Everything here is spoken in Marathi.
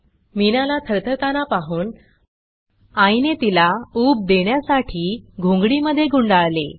मीनाला थरथरताना पाहून आईने तिला उब देण्यासाठी घोंगडी गुंडाळले